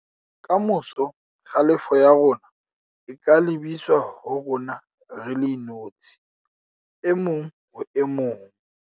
Ka moso, kgalefo ya rona e ka lebiswa ho rona re le inotshi - e mong ho e mong